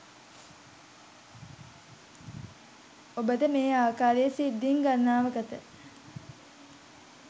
ඔබට මේ ආකාරයේ සිද්ධීන් ගනනාවකට